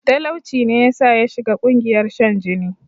Talauci ne yasa yashiga ƙungiyar shan jini